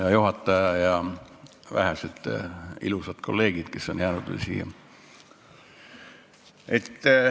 Hea juhataja ja vähesed ilusad kolleegid, kes on veel siia jäänud!